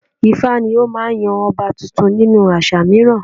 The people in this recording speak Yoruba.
ifá ni ó máa ń yan ọba tuntun nínú àṣà mìíràn